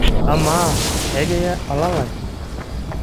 Amaa ekiya olalai?